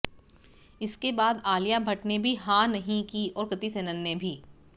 इसके बाद आलिया भट्ट ने भी हां नहीं की और कृति सेनन ने भी